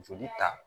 Joli ta